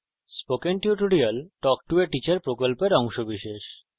spoken tutorial talk to a teacher প্রকল্পের অংশবিশেষ